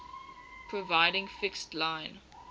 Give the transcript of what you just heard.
providing fixed line